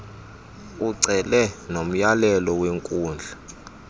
ucele nomyalelo wenkundla